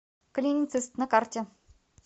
клиницист на карте